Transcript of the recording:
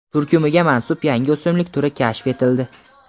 turkumiga mansub yangi o‘simlik turi kashf etildi.